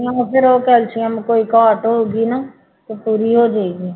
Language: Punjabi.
ਆਹੋ ਫਿਰ ਉਹ ਕੈਲਸੀਅਮ ਕੋਈ ਘਾਟ ਹੋਊਗੀ ਨਾ ਤੇ ਪੂਰੀ ਹੋ ਜਾਏਗੀ